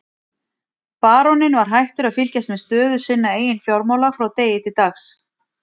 Baróninn var hættur að fylgjast með stöðu sinna eigin fjármála frá degi til dags.